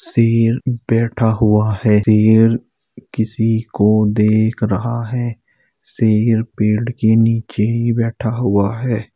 शेर बैठा हुआ है शेर किसी को देख रहा है शेर पेड़ के नीचे ही बैठा हुआ है।